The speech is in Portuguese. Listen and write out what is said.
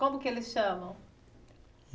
Como que eles chamam?